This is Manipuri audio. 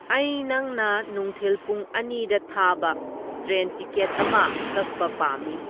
ꯑꯩ ꯅꯪꯅ ꯅꯨꯡꯊꯤꯜ ꯄꯨꯡ ꯑꯅꯤꯗ ꯊꯥꯕ ꯇ꯭ꯔꯦꯟ ꯇꯤꯀꯦꯠ ꯑꯃ ꯀꯛꯕ ꯄꯥꯝꯃꯤ